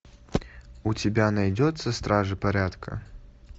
у тебя найдется стражи порядка